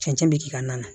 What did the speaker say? Cɛncɛn bɛ k'i ka na